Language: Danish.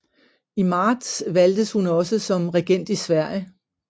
I marts valgtes hun også som regent i Sverige